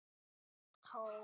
Og ekki allt búið enn.